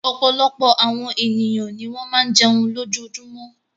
Ọ̀pọ̀lọpọ̀ àwọn ènìyàn ni wọ́n máa ń jẹun lójoojúmọ́.